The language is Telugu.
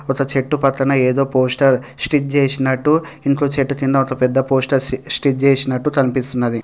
ఒక చెట్టు పక్కన ఏదో పోస్టర్ స్టిక్ చేసినట్టు ఇంకో చెట్టు కింద ఒక పెద్ద పోస్టర్ స్టిక్ చేసినట్టు కనిపిస్తున్నది.